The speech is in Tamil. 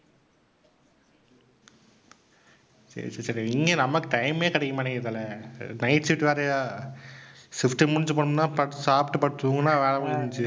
சரி சரி சரி இங்க நமக்கு time மே கிடைக்க மாட்டேங்குது தல. night shift வேறயா? shift முடிஞ்சு போனோம்னா படுத்து சாப்பிட்டு படுத்து தூங்கினா வேலை முடிஞ்சுச்சு.